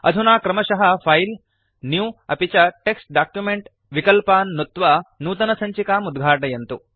अधुना क्रमशः file new अपि च टेक्स्ट् डॉक्युमेंट विकल्पान् नुत्त्वा नूतनसञ्चिकाम् उद्घाटयन्तु